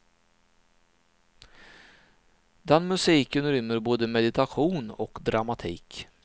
Den musiken rymmer både meditation och dramatik.